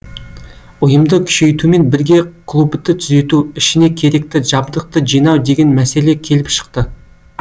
ұйымды күшейтумен бірге клубты түзету ішіне керекті жабдықты жинау деген мәселе келіп шықты